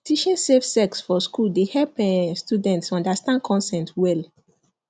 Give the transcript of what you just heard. teaching safe sex for school dey help um students understand consent well